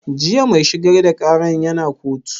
Jiya mai shigar da ƙaran ya na kotu?